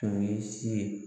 Tun ye si ye